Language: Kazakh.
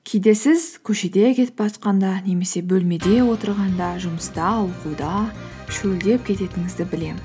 кейде сіз көшеде кетіп немесе бөлмеде отырғанда жұмыста оқуда шөлдеп кететіңізді білемін